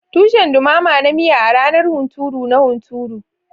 Tushen dumama na miya a ranar hunturu na hunturu.